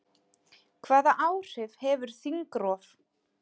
Hvaða áhrif hefur þingrof?